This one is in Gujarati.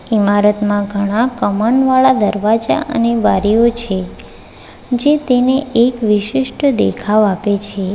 ઇમારતમાં ઘણા કમનવાળા દરવાજા અને બારીઓ છે જે તેને એક વિશિષ્ટ દેખાવ આપે છે.